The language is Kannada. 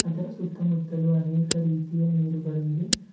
ಇದರ ಸುತ್ತಮುತ್ತಲು ಅನೇಕ ರೀತಿಯ ನೀರುಗಳಿವೆ.